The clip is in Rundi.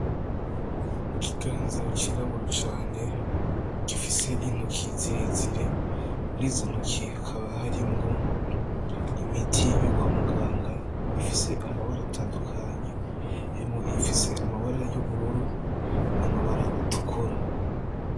Kiganza Cirabura Cane Gifise Intoki Zirezire, Mur'Izo Ntoke Hakaba Harimwo: Imiti Yo Kwa Muganga, Ifise Amabara Atandukanye Harimwo Iyifise Amabara Y'Ubururu N'Amabara Atukura.